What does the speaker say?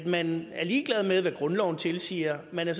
man er ligeglad med hvad grundloven tilsiger man er